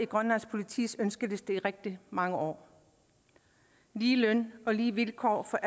grønlands politis ønskeliste i rigtig mange år lige løn og lige vilkår for